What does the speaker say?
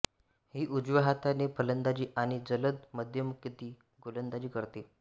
ही उजव्या हाताने फलंदाजी आणि जलद मध्यमगती गोलंदाजी करते